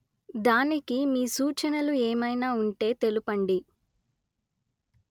దానికి మీ సూచనలు ఏమయినా ఉంటే తెలుపండి